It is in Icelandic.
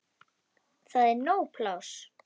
Það er nóg pláss.